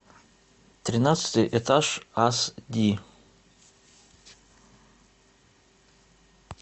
тринадцатый этаж ас ди